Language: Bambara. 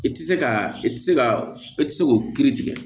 I tɛ se ka i tɛ se ka e tɛ se k'o kiiri tigɛ